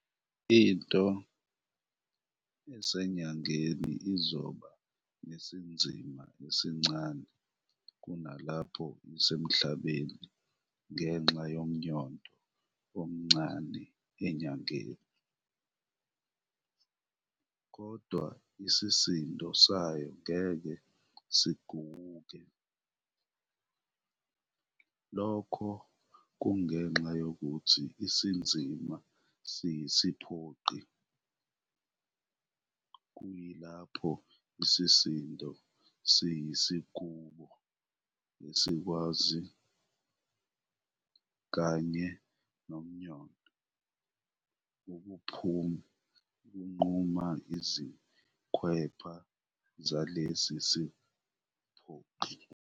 Into eseNyangeni izoba nesinzima esincane kunalapho iseMhlabeni ngenxa yomnyondo omncane eNyangeni, kodwa isisindo sayo ngeke siguwuke. Lokhu kungenxa yokuthi isinzima siyisiphoqi, kuyilapho isisindo siyisigubo esikwazi, kanye nomyondo, ukunquma izikhwepha zalesi siphoqi.